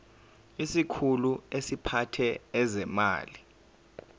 isikhulu esiphethe ezezimali